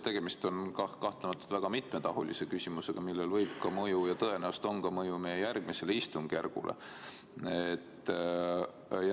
Tegemist on kahtlemata väga mitmetahulise küsimusega, millel võib olla mõju – ja tõenäoliselt ongi mõju – ka meie järgmisele istungjärgule.